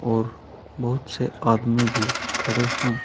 और बहुत से आदमी भी खड़े हैं।